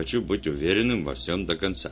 хочу быть уверенным во всем до конца